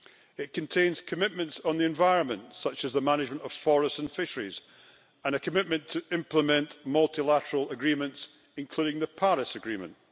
It contains commitments on the environment, in respect of the management of forests and fisheries, for example, and a commitment to implement multilateral agreements, including the Paris Agreement.